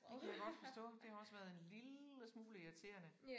Det kan jeg godt forstå. Det har også været en lille smule irriterende